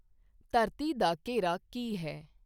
ਧਰਤੀ ਦਾ ਘੇਰਾ ਕੀ ਹੈ